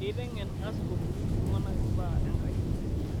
Keiteng'eni askofuni ltung'ana mbaa Enkai